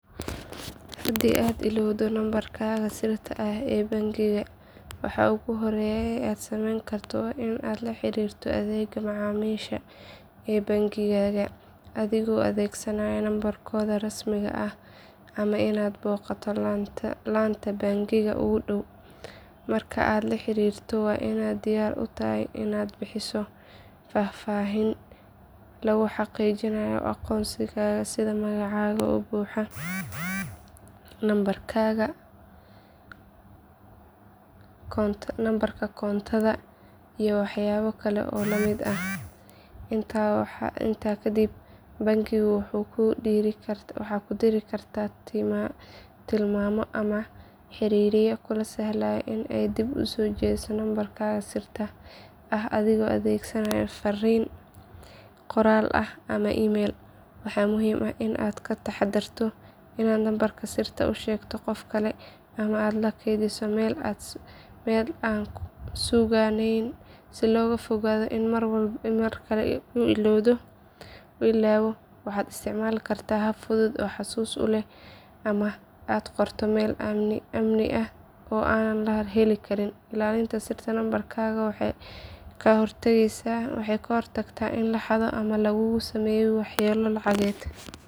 Handi aad ilowdoh numabarkatha sirtavee bankiga waxa ugu hoori aa sameeynkartoh wa Ina laxarirtoh adeega macamilka ee bankiga, adego adesanaya numbarkotha rasmika aah amah Ina noqotoh laanta bankiga ugu dow marka aa laxarirtoh wa Ina diyaar u tahay Ina bixisoh fafahinta lagubxaqijinayo aqoonta setha magaca oo buuxah numabarkatha numabarka korontotha iyo waxayabakali oo lamit aah intakadib bankiga waxu kudibaya waxakudiri kartah timamiyo amah xariryo kula sahloh Ina aa dib usojeethesoh numabarkatha siirtaa waxa adego adegsanya farin qoral amah emeeyl ama kugathesih meel oo kufugeen, Ina markali u ilowdoh waxa isticmalkarah hab futhut oo amah aa qoortoh meel amni aah oo aa heli Karin ilalinta siirta numabarkatha waxa kahortageysoh Ina laxathoh amah lakugu sameeyoh waxyalo lacageet.